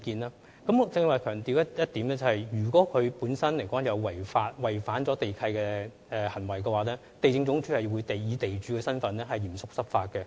我剛才曾強調，如發現有違反地契的行為，地政總署會以地主的身份嚴肅執法。